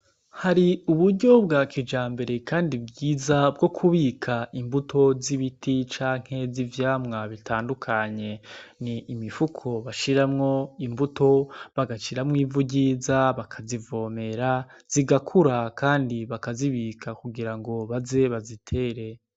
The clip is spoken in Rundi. Hari uburyo bwa kijambere kandi bwiza bwo kubika imbuto z'ibiti canke z'ivyamwa bitandukanye. Ni imifuko bashiramwo imbuto, bagashiramwo ivu ryiza bakazivomera, zigakura kandi bakazibika kugirango baze bazitere.